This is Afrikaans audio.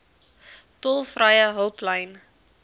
tolvrye hulplyn